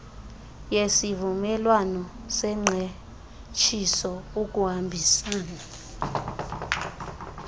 yesivumelwano sengqeshiso ukuhambisana